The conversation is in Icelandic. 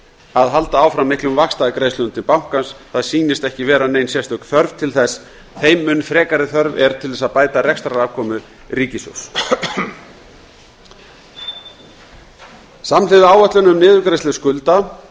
að halda áfram miklum vaxtagreiðslum til bankans það sýnist ekki vera nein sérstök þörf til þess þeim mun frekari þörf er til þess að bæta rekstrarafkomu ríkissjóðs samhliða áætlun um niðurgreiðslu skulda